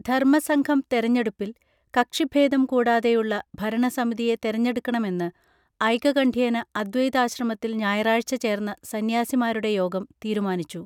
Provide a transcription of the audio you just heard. ധർമസംഘം തെരഞ്ഞെടുപ്പിൽ കക്ഷിഭേദം കൂടാതെയുള്ള ഭരണസമിതിയെ തെരഞ്ഞെടുക്കണമെന്ന് ഐകകണ്ഠ്യേന അദ്വൈതാശ്രമത്തിൽ ഞായറാഴ്ച്ച ചേർന്ന സന്യാസിമാരുടെ യോഗം തീരുമാനിച്ചു